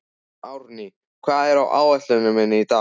Árný, hvað er á áætluninni minni í dag?